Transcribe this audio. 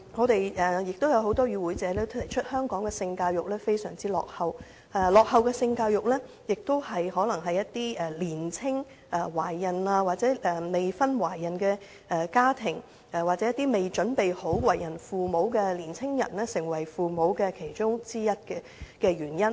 多位與會者亦指出香港的性教育非常落後，而這可能是造成年青懷孕或未婚懷孕的家庭，又或是未準備好為人父母的年青人成為父母的其中一項原因。